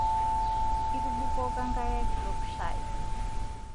Itubukoka nkare kitok shai